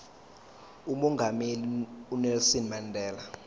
umongameli unelson mandela